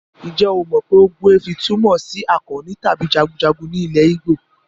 Ǹjẹ́ o mọ pé ogbuefi túmọ̀ sí akọni tàbí jagunjagun ní ilẹ̀ Igbo?